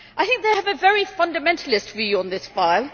I think they have a very fundamentalist view on this file.